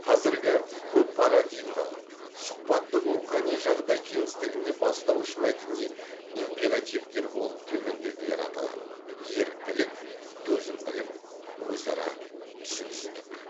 қазіргі көппарадигмалық сұхбаттық рухани жағдай кеңістігінде бастауыш мәдени императивтер болып төмендегілер аталады еріктілік төзімділік өзара түсіністік